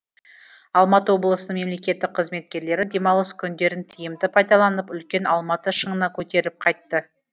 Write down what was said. алматы облысының мемелкеттік қызметкерлері демалыс күндерін тиімді пайдаланып үлкен алматы шыңына көтеріліп қайтты